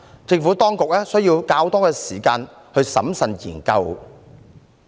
政府當局需要較多時間審慎研究。